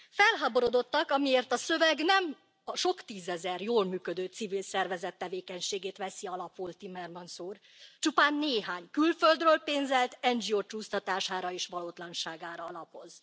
Felháborodottak, amiért a szöveg nem a sok tízezer jól működő civil szervezet tevékenységét veszi alapul, Timmermans úr csupán néhány külföldről pénzelt NGO csúsztatására és valótlanságára alapoz.